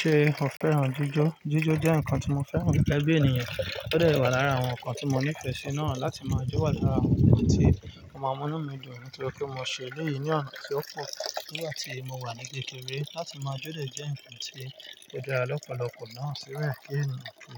Ṣé o fẹ́ran jíjọ́? Jíjọ́ jẹ́ nǹkan tí mo fẹ́ran gege bí ènìyàn, ó dẹ̀ wà lára àwọn nǹkan tí mo ní ìfẹ̀ si náà. Láti máa jó wà làra àwọn ǹkan tí màá mú ní mi dùn nitoripe mo ṣe eléyìí ní ọ̀nà tí ó pò, ni igbàti mo wà ní kékeré. Láti máa jó de jẹ́ nǹkan tí ó dá lọ́pọ̀lọpọ̀ náà síbẹ̀ kí ènìyàn ki